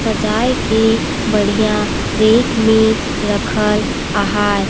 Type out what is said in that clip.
सजाए के बढ़िया रेक में रखल आहाए।